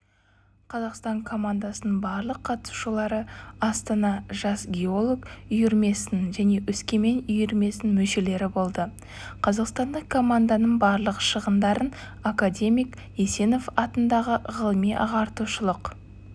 қазақстан командасының барлық қатысушылары астана жас геолог үйірмесінің және өскемен үйірмесінің мүшелері болды қазақстандық команданың барлық шығындарын академик есенов атындағы ғылыми-ағартушылық